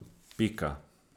Pika.